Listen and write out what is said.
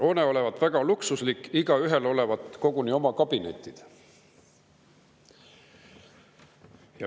Hoone olevat väga luksuslik, igaühel olevat koguni oma kabinetid.